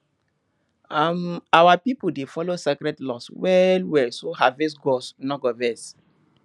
um our pipo dey follow sacred laws well well so harvest gods no go vex